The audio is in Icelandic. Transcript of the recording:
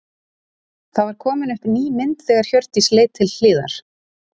Það var komin upp ný mynd þegar Hjördís leit til hliðar.